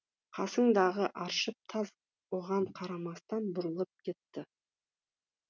қасындағы аршыл таз оған қарамастан бұрылып кетті